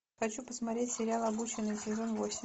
хочу посмотреть сериал обученные сезон восемь